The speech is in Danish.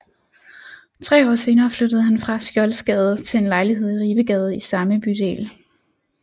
Tre år senere flyttede han fra Skjoldsgade til en lejlighed i Ribegade i samme bydel